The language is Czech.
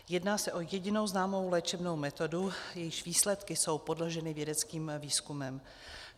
Jedná se o jedinou známou léčebnou metodu, jejíž výsledky jsou podloženy vědeckým výzkumem.